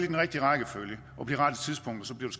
den rigtige rækkefølge